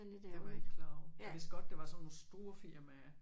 Det var jeg ikke klar over jeg vidste godt det var sådan nogle store firmaer